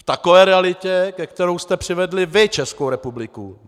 V takové realitě, ke které jste přivedli vy Českou republiku.